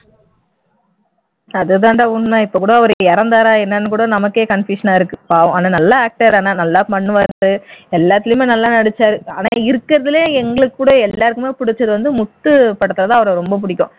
அதுதாண்டா உண்மை இப்போக்கூட அவர் இறந்தாரா என்னன்னு கூட நமக்கே confusion ஆ இருக்கு பாவம் ஆனா நல்ல actor ஆனா நல்லா பண்ணுவார் எல்லாத்துலையுமே நல்லா நடிச்சார் ஆனா இருக்கறதிலையே எங்களுக்கு கூட எல்லாருக்கும் பிடிச்சது வந்து முத்து படத்துலதான் அவர ரொம்ப பிடிக்கும்